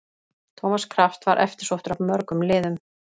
Thomas Kraft var eftirsóttur af mörgum liðum.